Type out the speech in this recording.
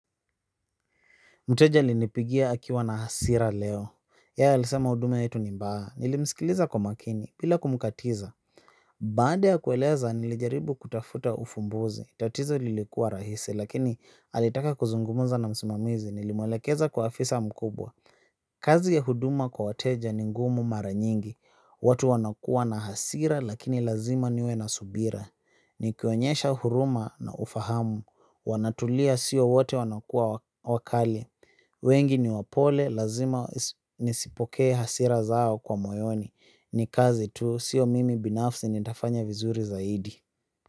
Mteja alinipigia akiwa na hasira leo. Yeye alisema huduma yetu ni mbaya. Nilimsikiliza kwa makini bila kumkatiza. Baad ya kueleza nilijaribu kutafuta ufumbuzi. Tatizo lilikuwa rahisi. Lakini alitaka kuzungumza na msimamizi. Nilimwelekeza kwa afisa mkubwa. Kazi ya huduma kwa wateja ni ngumu mara nyingi. Watu wanakua na hasira lakini lazima niwe na subira. Nikionyesha huruma na ufahamu. Wanatulia siyo wote wanakua wakali. Wengi ni wapole, lazima nisipokee hasira zao kwa moyoni. Ni kazi tu, sio mimi binafsi nitafanya vizuri zaidi.